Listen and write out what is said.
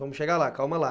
Vamos chegar lá, calma lá.